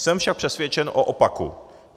Jsem však přesvědčen o opaku.